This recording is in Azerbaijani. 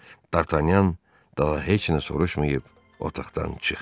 Dartanyan daha heç nə soruşmayıb otaqdan çıxdı.